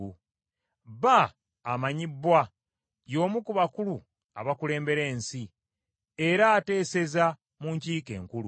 Bba amanyibbwa, y’omu ku bakulu abakulembera ensi, era ateeseza mu nkiiko enkulu.